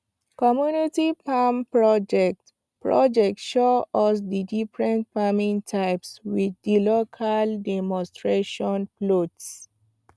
community farm project project show us di different farming types with di local demonstration plots